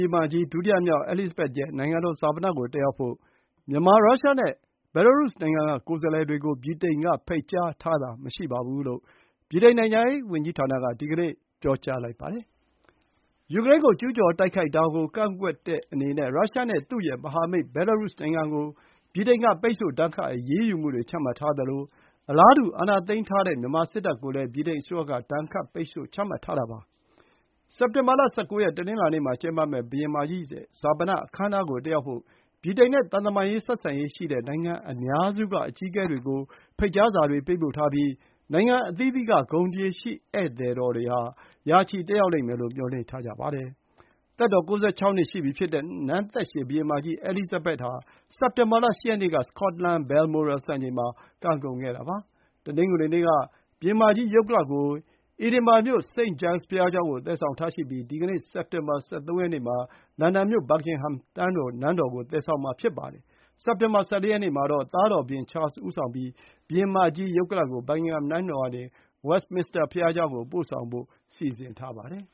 င်မကြီး ဒုတိယမြောက် အဲလိစ်ဇဘက်သ်ရဲ့ နိုင်ငံတော်ဈာပနကို တက်ရောက်ဖို့ မြန်မာ၊ ရုရှားနဲ့ဘဲလားရုစ်နိုင်ငံတွေက ကိုယ်စားလှယ်တွေကို ဗြိတိန်က ဖိတ်ကြားထားတာမရှိဘူးလို့ ဗြိတိန်နိုင်ငံခြားရေးဌာနက ဒီကနေ့ ပြောပါတယ်။ ယူကရိန်းကို ကျူးကျော်တိုက်ခိုက်တာကိုကန့်ကွက်တဲ့အနေနဲ့ ရုရှားနဲ့ သူ့ရဲ့မဟာမိတ် ဘဲလားရုစ်နိုင်ငံကို ဗြိတိန်က ပိတ်ဆို့ဒဏ်ခတ် အရေးယူမှုတွေချမှတ်ထားသလို အာဏာသိမ်းထားတဲ့ မြန်မာစစ်တပ်ကိုလည်း ဗြိတိန်အစိုးရက အလားတူ ဒဏ်ခတ် ပိတ်ဆို့မှုတွေ ချမှတ်ထားတာပါ။ စက်တင်ဘာ ၁၉ ရက် တနင်္လာနေ့မှာ ကျင်းပမယ့် ဘုရင်မကြီး ဈာပနအခမ်းအနားကို တက်ရောက်ဖို့ ဗြိတိန်နဲ့ သံတမန်ဆက်ဆံရေးရှိတဲ့ နိုင်ငံအများစုက အကြီးအကဲတွေကို ဖိတ်ကြားစာတွေ ပေးပို့ထားပြီး နိုင်ငံအသီးသီးက ဂုဏ်သရေရှိ ဧည့်သည် ၅၀၀ လောက် တက်ရောက်မယ်လို့ မျှော်လင့်ထားကြောင်း BBC သတင်းဌာနက ပြောပါတယ်။ သက်တော် ၉၆ နှစ်ရှိပြီဖြစ်တဲ့ နန်းသက်ရှည်ဘုရင်မကြီး အဲလိစ်ဇဘက်သ်ဟာ စက်တင်ဘာလ ၈ ရက်နေ့က စကော့တလန် Balmoral စံအိမ်မှာ ကံကုန်ခဲ့တာပါ။ တနင်္ဂနွေနေ့က ဘုရင်မကြီး ရုပ်ကလာပ်ကို Edinburgh မြို့ St. Giles ဘုရားကျောင်းကို သယ်ဆောင်ထားရှိပြီး ဒီကနေ့ စက်တင်ဘာ ၁၃ ရက်နေ့မှာ လန်ဒန်မြို့ Buckingham နန်းတော်ကို သယ်ဆောင်မှာဖြစ်ပါတယ်။ စက်တင်ဘာ ၁၄ ရက်နေ့မှာတော့ သားတော် ဘုရင် Charles ဦးဆောင်ပြီး ဘုရင်မကြီး ရုပ်ကလာပ်ကို Buckingham နန်းတော်ကနေ Westminster ဘုရားကျောင်းကို ပို့ဆောင်ဖို့ စီစဉ်ထားပါတယ်